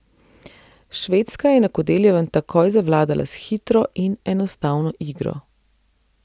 Švedska je na Kodeljevem takoj zavladala s hitro in enostavno igro.